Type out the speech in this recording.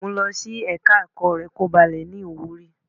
Mu lọ sí ẹ̀ka ẹ̀kọ́ rẹ kí ó ba le ní ìwúrí.